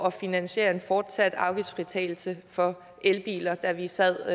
at finansiere en fortsat afgiftsfritagelse for elbiler da vi sad